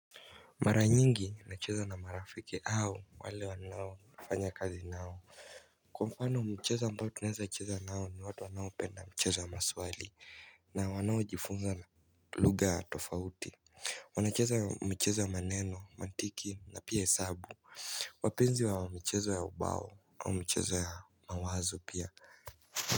Mara nyingi nacheza na marafiki au wale ninaofanya kazi nao. Kwa mfano mcheza ambao tunaezacheza nao ni watu wanaopenda mcheza wa maswali na wanaojifunza na lugha tofauti. Wanacheza mcheza wa maneno, mantiki na pia hesabu wapenzi wa mcheza ya ubao au mcheza ya mawazo pia.